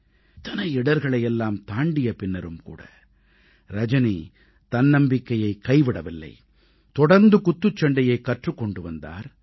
இத்தனை இடர்களை எல்லாம் தாண்டிய பின்னரும் கூட ரஜனி தன்னம்பிக்கையைக் கைவிடவில்லை தொடர்ந்து குத்துச்சண்டையைக் கற்றுக் கொண்டு வந்தார்